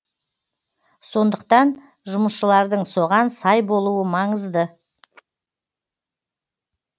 сондықтан жұмысшылардың соған сай болуы маңызды